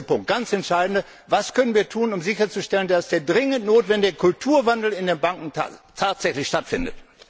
Und der letzte, ganz entscheidende Punkt Was können wir tun, um sicherzustellen, dass der dringend notwendige Kulturwandel in den Banken tatsächlich stattfindet?